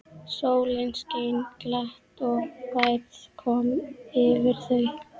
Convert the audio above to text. Sólin skein glatt og værð kom yfir þau.